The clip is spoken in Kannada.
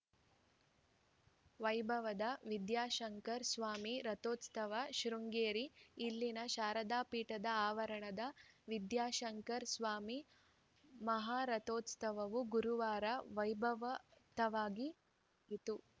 ವೈಭವದ ವಿದ್ಯಾಶಂಕರಸ್ವಾಮಿ ರಥೋತ್ಸವ ಶೃಂಗೇರಿ ಇಲ್ಲಿನ ಶಾರದಾಪೀಠದ ಆವರಣದ ವಿದ್ಯಾಶಂಕರ ಸ್ವಾಮಿ ಮಹಾರಥೋತ್ಸವವು ಗುರುವಾರ ವೈಭವಯುತವಾಗಿ ಜರುಗಿತು